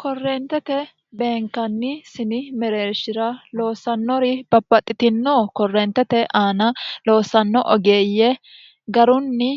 korreentete beenkanni sini mereershira loossannori babbaxxitino korreentete aana loossanno ogeeyye garunni